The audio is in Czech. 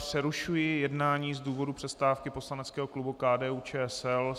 Přerušuji jednání z důvodu přestávky poslaneckého klubu KDU-ČSL.